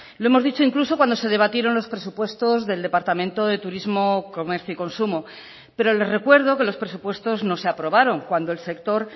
lo hemos dicho incluso cuando se debatieron los presupuestos del departamento de turismo comercio y consumo pero le recuerdo que los presupuestos no se aprobaron cuando el sector